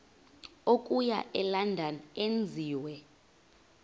okuya elondon enziwe